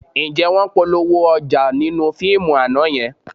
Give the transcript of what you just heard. Ǹjẹ́ wọ́n polówó ọjà nínú fíìmù àná yẹn?